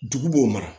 Dugu b'o mara